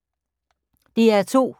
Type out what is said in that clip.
DR2